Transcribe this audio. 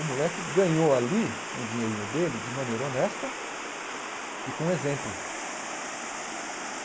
O moleque ganhou ali um dinheirinho dele de maneira honesta e com exemplo.